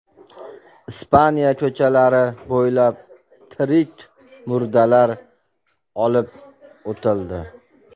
Ispaniya ko‘chalari bo‘ylab tirik murdalar olib o‘tildi.